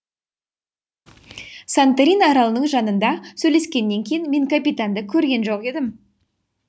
санторин аралының жанында сөйлескеннен кейін мен капитанды көрген жоқ едім